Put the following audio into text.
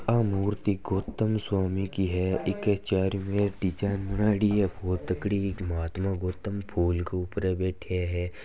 या मूर्ति गौतम स्वामी की है इक चारों में डिज़ाइन बनायेड़ी बहुत तकड़ी महात्मा गौतम फूल के ऊपर बैठा है।